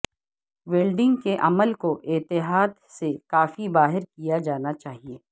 welding کے عمل کو احتیاط سے کافی باہر کیا جانا چاہیے